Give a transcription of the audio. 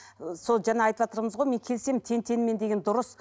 ы сол жаңа айтыватырмыз ғой мен келісемін тең теңімен деген дұрыс